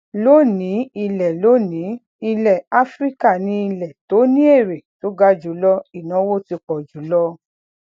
lónìí ilẹ lónìí ilẹ áfíríkà ni ilẹ to ni èrè to ga julo ìnáwó ti pọ jù lọ